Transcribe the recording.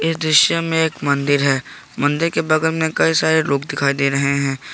दृश्य एक मंदिर है मंदिर के बगल में कई सारे लोग दिखाई दे रहे हैं।